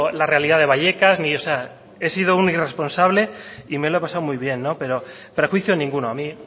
la realidad de vallecas o sea he sido un irresponsable y me lo he pasado muy bien pero prejuicio ninguno a mí